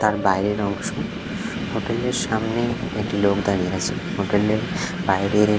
তার বাইরের অংশ হোটেল -এর সামনে একটি লোক দাঁড়িয়ে আছে হোটেল -এর বাইরে--